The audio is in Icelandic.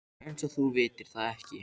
Eins og þú vitir það ekki.